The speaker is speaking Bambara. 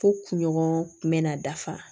Fo kunɲɔgɔn kun bɛna dafa